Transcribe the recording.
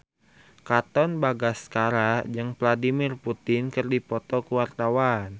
Katon Bagaskara jeung Vladimir Putin keur dipoto ku wartawan